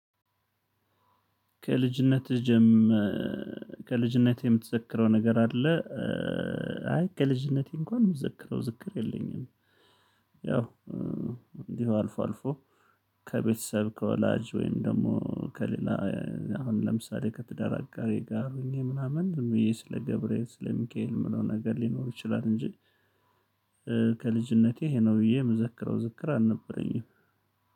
ከልጅነትህ ጀም ከልጅነትህ የምትዘክረው ነገር አለ? አይ ከልጅነቴ እንኳን ምዝክረው ዝክር የለኝም። ያው እንዲህ አልፎ አልፎ ከቤተሰብ ከወላጅ ወይም ደግሞ ከሌላ አሁን ለምሳሌ ከትዳር አጋሬ ጋር ሆኜ ምናምን ዝም ብዬ ስለ ገብርኤል ስለ ሚካኤል የምለው ነገር ሊኖር ይችላል እንጂ ከልጅነቴ ይሄ ነው ብዬ የምዘክረው ዝክር አልነበረኝም።